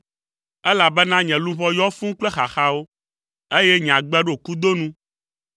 elabena nye luʋɔ yɔ fũu kple xaxawo, eye nye agbe ɖo kudo nu.